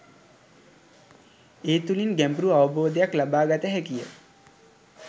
ඒ තුළින් ගැඹුරු අවබෝධයක් ලබා ගත හැකිය